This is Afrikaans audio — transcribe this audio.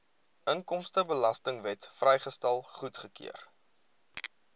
inkomstebelastingwet vrystelling goedgekeur